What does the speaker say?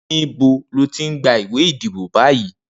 Nibó lò ti n gbá iwé idibó bàyí?